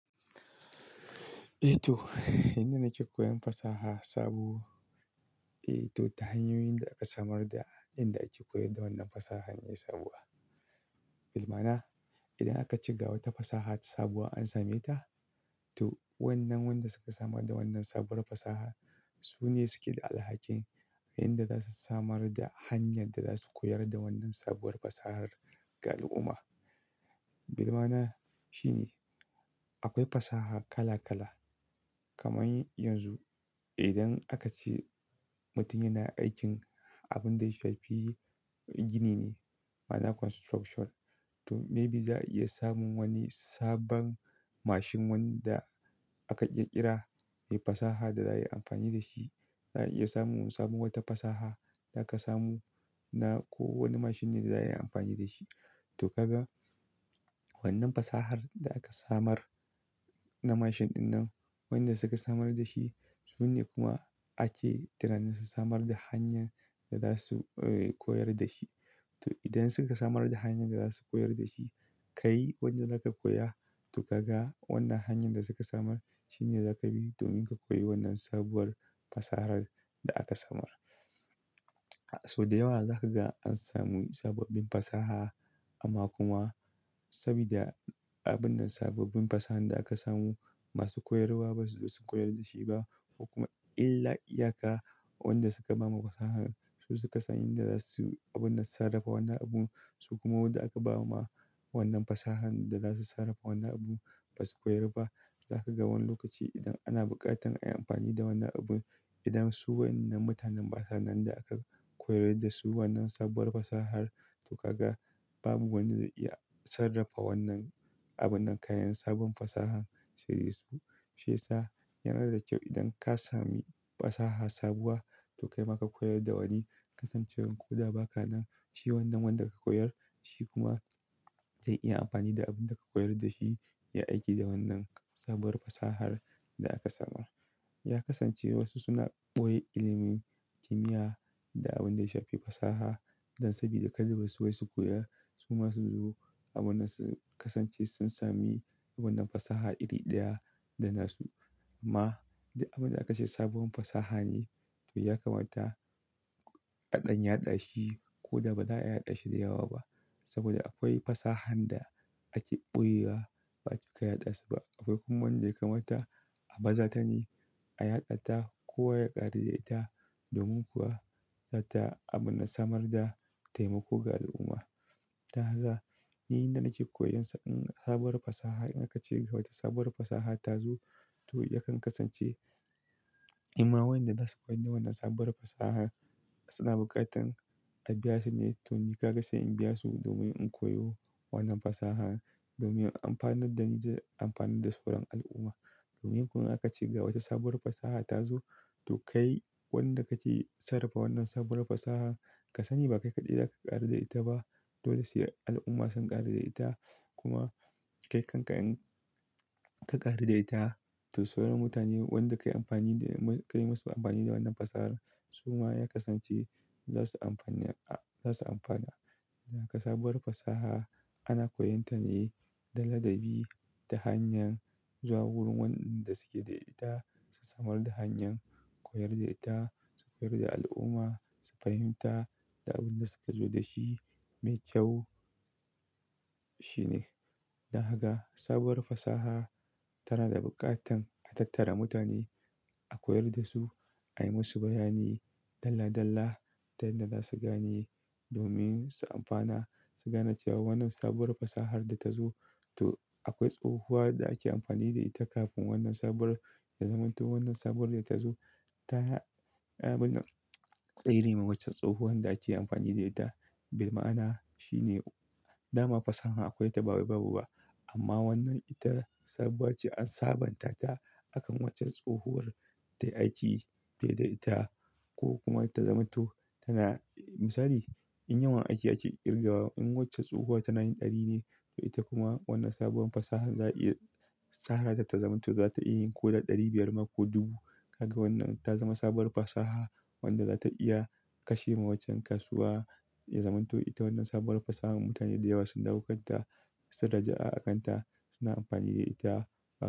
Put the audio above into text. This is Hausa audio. Eh to, inda na ke koyan fasaha sabo eh to ta hanyoyin da aka samar da yanda ake koyar da wannan fasahar ne sabuwa. Bilmana idan aka ce ga wata fasaha sabuwa an same ta, to wannan wanda suka samar da wannan sabuwar fasahar su ne suke da alhakin inda za su samar da hanyar da za su koyar da wannan sabuwar fasahar ga al'umma. Bilmana shine akwai fasaha kala kala. Kamar yanzu idan aka ce mutum yana aikin abin da ya shafi gini ne, ma'ana construction, to maybe za a iya samun wani sabon mashin wanda aka ƙirƙira, ye fasaha da za a yi amfani da shi. Za a iya samun wata fasaha da aka samu na ko wani mashin ne da za a yi amfani da shi. To kaga wannan fasahar da aka samar na mashin dinnan, wayanda suka samar da shi su ne kuma ake tunanin su samar da hanyar da za su, eh, koyar da shi. To idan suka samar da hanyar da za su koyar da shi, ka yi wadda za ka koya to kaga wannan hanyar da suka samar shi ne za ka bi domin ka koyi wannan sabuwar fasahar da aka samar. Sau da yawa za ka ga an samu sababbin fasaha amma kuma sabida abun nan sabobbin fasahan da aka samu masu koyarwa ba su zo su koyar da shi ba ko kuma illa iyaka wanda suka ba ma fasahar su suka san inda za su abun nan sarrafa wannan abun su kuma wadda aka ba ma wannan fasahar da za su sarrafa wannan abun ba su koyar ba. Za ka ga wani lokaci idan ana bukatar a yi amfani da wannan abun, idan su wayannan mutanen basanan da aka koyar da su wannan sabuwar fasahar to kaga babu wanda zai iya sarrafa wannan abun nan, kayan sabon fasahar. Su. Sesa yanar da kyau idan ka sami fasaha sabuwa to kai ma ka koyar da wani. Kasancewan ko da ba ka nan shi wannan wanda ka koyar shi kuma zai iya amfani da abin da ka koyar da shi ya aiki da wannan sabuwar fasahar da aka samar. Ya kasance wasu suna ɓoye ilimin kimiyya da abin da ya shafi fasaha dan sabida kadai ba su waye su koya su ma suzo abun nan su kasance sun sami wannan fasaha iri ɗaya da na su. Amma duk abin da aka ce sabuwar fasaha ne to ya kamata a ɗan yaɗa shi ko da ba za a yaɗa shi da yawa ba. Saboda akwai fasahan da aka ɓoyewa ba a cika yaɗa su ba. Akwai kuma wanda ya kamata a baza ta ne, a yaɗa ta kowa ya ƙari da ita domin kuwa zata abun nan samar da taimako ga al'umma. Taha za, ni inda nake koyan sa, in sabuwar fasaha in aka ce ga wata sabuwar fasaha ta zo to yakan kasance, in ma wayanda za su koyi na wannan sabuwar fasaha suna buƙatar a biya su ne. To ni kaga sai in biya su domin in koyo wannan fasaha domin amfanin da zan ji amfani da su don al'umma. Domin kuwa in aka ce ga wata sabuwar fasaha ta zo to kai wanda kake sarrafa wannan sabuwar fasaha ka sani ba kai kaɗai za ka ƙari da ita ba, dole sai al'umma su ƙari da ita. Kuma kai kanka in ka ƙari da ita to sauran mutane wanda ka yi amfani da mu, ka yi masu amfani da wannan fasahar su ma ya kasance za su amfani, a, za su amfana. Na ka sabuwar fasaha ana koyon ta ne da ladabi, da hanyar zuwa wurin wanɗanda suke da ita, su samar da hanyar koyar da ita, su koyar da al'umma, su fahimta da abin da suka zo da shi. Mai kyau shine da haka sabuwar fasaha tana da buƙatar a tattara mutane a koyar da su, a yi masu bayani dalla dalla ta yan da za su gane domin su amfana, su gane cewa wannan sabuwar fasahar da ta zo to akwai tsowuwa da ake amfani da ita kafin wannan sabuwar da zaman to wannan sabuwar da ta zo ta ya, abun nan tserima waccan tsowuwan da ake amfani da ita. Bilmana shine dama fasaha akwai ta bawai babu ba amma wannan ita saboda ce an sabanta ta akan waccan tsowuwar ta aiki fiye da ita ko kuma ta zama to tana, misali in yawan ake a ke ƙirga in wacce tsowuwa tana yin ɗari ne to ita kuma wannan sabuwar fasahar za a iya tsara ta ta zama to za ta iya yin ko da ɗari biyar ma ko dubu. Kaga wannan ta zama sabuwar fasaha wanda za ta iya kashe ma waccan kasuwa. Ya zama to ita wannan sabuwar fasahar mutane da yawa sun dauka ta, suka rijiya'a a kan ta suna amfani da ita ba.